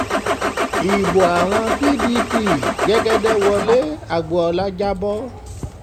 ibo àwọn pdp l jẹ́gẹ́dẹ́ wọlé agbọ́ọ́lá jà bọ́